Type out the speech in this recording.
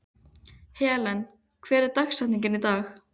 Helen, hver er dagsetningin í dag?